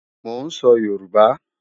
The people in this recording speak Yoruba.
Mò ń sọ Yorùbá